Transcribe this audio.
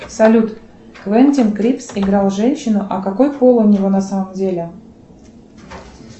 салют квентин крипс играл женщину а какой пол у него на самом деле